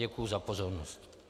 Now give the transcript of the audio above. Děkuji za pozornost.